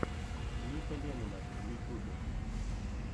ника ленина в ютюбе